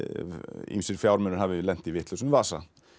ýmsir fjármunir hafi lent í vitlausum vasa